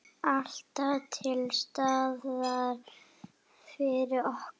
Alltaf til staðar fyrir okkur.